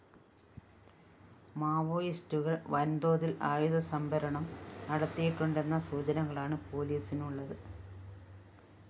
മാവോയിസ്റ്റുകള്‍ വന്‍തോതില്‍ ആയുധ സംഭരണം നടത്തിയിട്ടുണ്ടെന്ന സുചനകളാണ് പോലീസിനുള്ളത്